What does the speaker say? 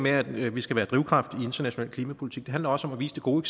at vi skal være drivkraft i international klimapolitik handler også om at vise det gode